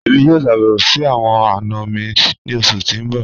Emi yoo ṣabẹwo si awọn ana mi ni oṣu ti n bọ.